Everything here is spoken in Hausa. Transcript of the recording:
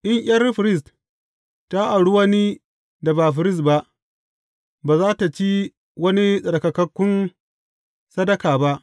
In ’yar firist ta auri wani da ba firist ba, ba za tă ci wani tsarkakakkun sadaka ba.